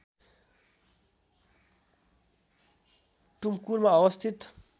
टुमकुरमा अवस्थित